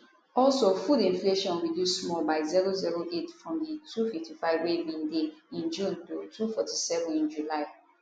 also food inflation reduce small by 008 from di 255 wey e bin dey in june to 247 in july